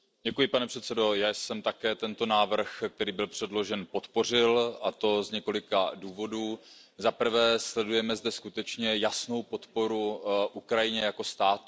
Pane předsedající, já jsem také tento návrh, který byl předložen, podpořil, a to z několika důvodů. Zaprvé, sledujeme zde skutečně jasnou podporu Ukrajině jako státu.